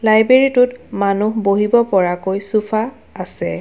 Library টোত মানু্হ বহিব পৰাকৈ চুফা আছে।